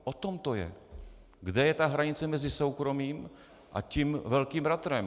O tom to je, kde je ta hranice mezi soukromím a tím velkým bratrem.